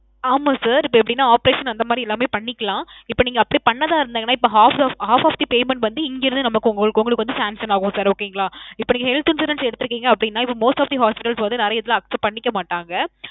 ஆமாம் sir. இப்போ எப்பிடின்னா operation அந்தமாறி எல்லாமே பண்ணிக்கலாம். இப்போ நீங்க அப்பிடி பண்றதா இருந்தீங்கன்னா இப்ப half half of the payment வந்து இங்க இருந்து நமக்கு ~ உங்களுக்கு வந்து sanction ஆகும் sir. okay ங்களா. இப்போ நீங்க health insurance எடுத்திருக்கீங்க அப்பிடின்னா, இப்ப most of the hospitals வந்து நிறையா இதுல accept பன்னிக்க மாட்டாங்க.